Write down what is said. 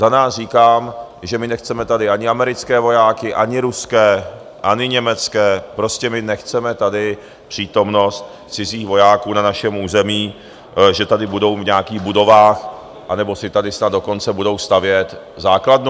Za nás říkám, že my nechceme tady ani americké vojáky, ani ruské, ani německé, prostě my nechceme tady přítomnost cizích vojáků na našem území - že tady budou v nějakých budovách, anebo si tady snad dokonce budou stavět základnu.